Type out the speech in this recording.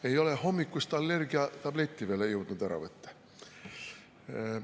Ei ole hommikust allergiatabletti veel jõudnud ära võtta.